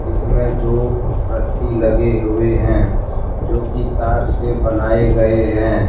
इसमें दो रस्सी लगे हुए हैं जो कि तार से बनाया गए हैं।